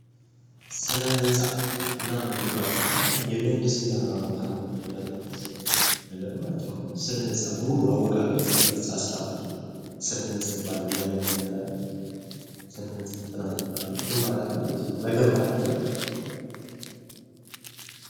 ስነ ህንፃ እና ግንባታ አሁን የምህንድስና ተማሪዎች የሚያጠኑት ነገር ማለት ነው። ስነ ህንፃ ሙሉ አወቃቀር ስርዓቱ ስነ ህንጻ ይባላል። ያንን የሚያጠና ስለ ህንጻ ጥናት ይባላል። ግንባታ ማለት ነው መገንባት ማለት ነው።